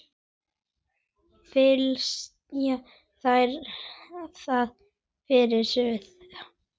Flysjið þær þá fyrir suðu.